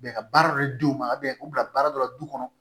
Bɛn ka baara dɔ di u ma u bila baara dɔ la du kɔnɔ